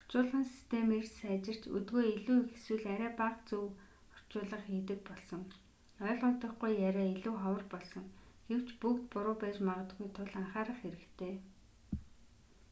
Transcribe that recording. орчуулгын систем эрс сайжирч өдгөө илүү их эсвэл арай бага зөв орчуулга хийдэг болсон ойлгогдохгүй яриа илүү ховор болсон гэвч бүгд буруу байж магадгүй тул анхаарах хэрэгтэй